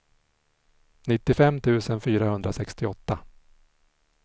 nittiofem tusen fyrahundrasextioåtta